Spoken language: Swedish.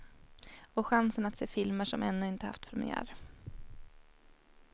Och chansen att se filmer som ännu inte haft premiär.